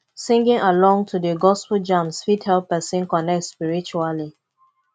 singing along to the gospel jams fit help person connect spiritually